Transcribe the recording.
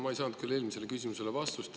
Ma ei saanud küll eelmisele küsimusele vastust.